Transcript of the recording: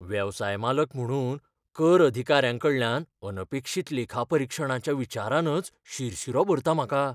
वेवसाय मालक म्हुणून, कर अधिकाऱ्यांकडल्यान अनपेक्षीत लेखापरीक्षणाच्या विचारानच शिरशीरो भरता म्हाका.